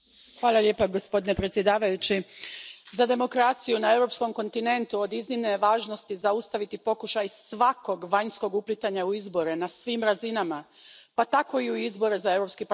Poštovani predsjedavajući, za demokraciju na europskom kontinentu od iznimne je važnosti zaustaviti pokušaj svakog vanjskog uplitanja u izbore na svim razinama, pa tako i u izbore za Europski parlament.